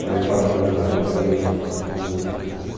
Trabalhei quatro anos lá e depois disso fui trabalhando em outras coisas.